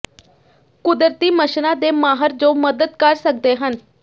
ਕੁਦਰਤੀ ਮੱਛਰਾਂ ਦੇ ਮਾਹਰ ਜੋ ਮਦਦ ਕਰ ਸਕਦੇ ਹਨ